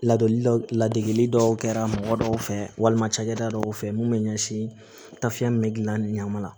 Ladonli dɔw la degegili dɔw kɛra mɔgɔ dɔw fɛ walima cakɛda dɔw fɛ mun bɛ ɲɛsin tafiɲɛ bɛ gilan ni ɲama la